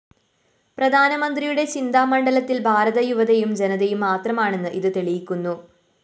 പ്രധാനമന്ത്രിയുടെ ചിന്താമണ്ഡലത്തില്‍ ഭാരത യുവതയും ജനതയും മാത്രമാണെന്ന് ഇത് തെളിയിക്കുന്നു